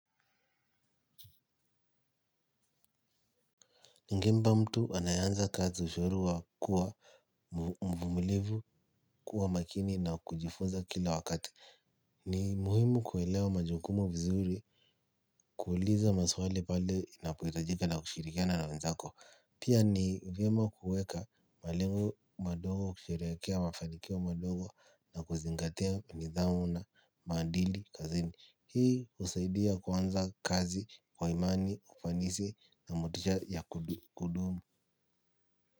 Ningempa mtu anayeanza kazi ushauri wa kuwa mvumilivu kuwa makini na kujifunza kila wakati. Ni muhimu kuelewa majukumu vizuri kuuliza maswali pale inapohitajika na kushirikiana na wenzako. Pia ni vyema kuweka malengo madogo kusherehekea mafanikio madogo na kuzingatia nithamu na maadili kazini. Hii husaidia kuanza kazi kwa imani, ufanisi na motisha ya kudumu.